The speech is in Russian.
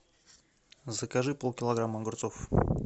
закажи полкилограмма огурцов